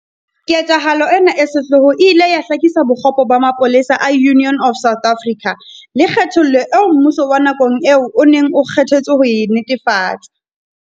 Ketsahalo ena e sehloho e ile ya hlakisa bokgopo ba mapolesa a Union of South Africa, le kgethollo eo mmuso wa nakong eo o neng o kge thetswe ho e netefatsa.